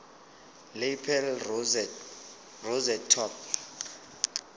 lapel rosette top